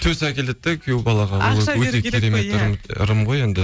төс әкеледі де күйеу балаға ақша беру керек қой иә ырым ғой енді